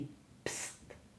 Pst!